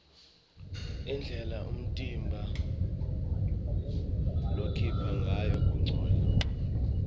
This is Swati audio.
indlela umtimba lokhipha ngayo kungcola